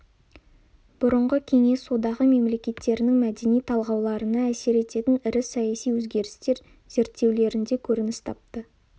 бұрынғы кеңес одағы мемлекеттерінің мәдени талғауларына әсер ететін ірі саяси өзгерістер зерттеулерінде көрініс тапты